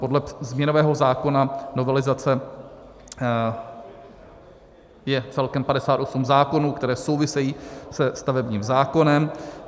Podle změnového zákona novelizace je celkem 58 zákonů, které souvisejí se stavebním zákonem.